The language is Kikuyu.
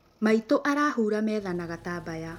Maitũ arahura metha na gatambaya